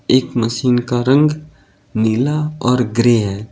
एक मशीन का रंग नीला और ग्रे है।